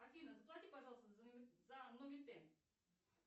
афина заплати пожалуйста за нормитен